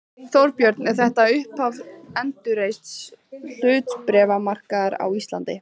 Þorbjörn: Er þetta upphaf endurreists hlutabréfamarkaðar á Íslandi?